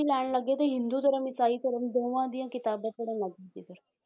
ਲੈਣ ਲੱਗੇ ਤੇ ਹਿੰਦੂ ਧਰਮ ਇਸਾਈ ਧਰਮ ਦੋਹਾਂ ਦੀਆਂ ਕਿਤਾਬਾਂ ਪੜ੍ਹਨ ਲੱਗ ਗਏ ਫਿਰ